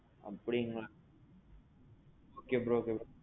அப்பிடிங்களா? okay bro சொல்லுங்க.